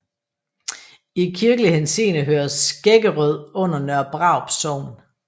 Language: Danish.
I kirkelig henseende hører Skæggerød under Nørre Brarup Sogn